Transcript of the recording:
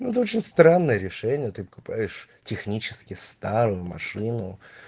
ну это очень странное решение ты покупаешь технически старую машину